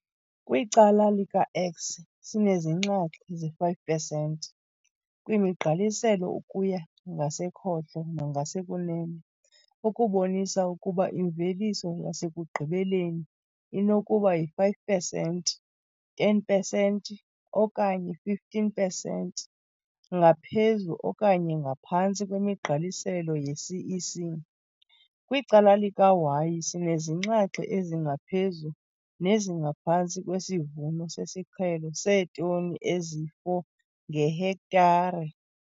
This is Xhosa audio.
Kwicala lika-x, sinezinxaxhi ze-5 pesenti kwimigqaliselo ukuya ngasekhohlo nangasekunene, okubonisa ukuba imveliso yasekugqibeleni inokuba yi-5 pesenti, 10 pesenti okanye 15 pesenti ngaphezu okanye ngaphantsi kwemigqaliselo yeCEC. Kwicala lika-y, sinezinxaxhi ezingaphezu nezingaphantsi kwesivuno sesiqhelo seetoni ezi-4 ngehektare.